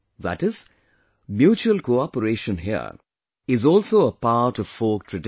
That is, mutual cooperation here is also a part of folk tradition